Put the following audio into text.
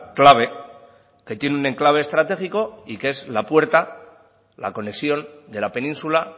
clave que tiene un enclave estratégico y que es la puerta la conexión de la península